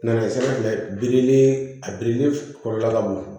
Na ye sira fɛ birili a birili kɔnɔna ka bon